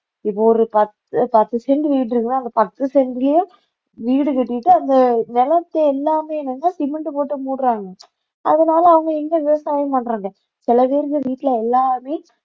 இப்ப ஒரு பத்~ பத்து cent வீடு இருக்குன்னா அந்த பத்து cent லயே வீடு கட்டீட்டு அந்த நிலத்தை எல்லாமே வந்து cement போட்டு மூடுறாங்க அதனால அவங்க எங்க விவசாயம் பண்றது சில பேருங்க வீட்டுல எல்லாமே